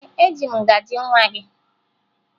Ee, eji m ngaji nwa gị